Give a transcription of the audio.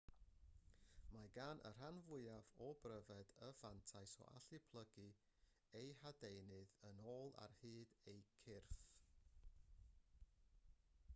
mae gan y rhan fwyaf o bryfed y fantais o allu plygu eu hadenydd yn ôl ar hyd eu cyrff